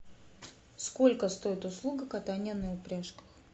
сколько стоит услуга катания на упряжках